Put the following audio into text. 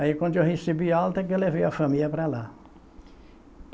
Aí quando eu recebi alta que eu levei a família para lá.